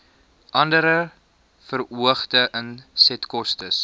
andere verhoogde insetkostes